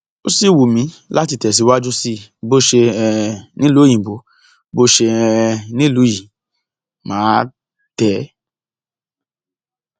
ó sì wù mí láti tẹsíwájú sí i bó ṣe um nílùú òyìnbó bó ṣe um nílùú yìí mà á tẹ é